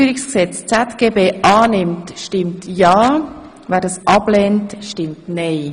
Wer die Änderungen im Einführungsgesetz ZGB annimmt, stimmt ja, wer das ablehnt, stimmt nein.